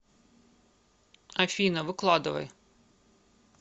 афина выкладывай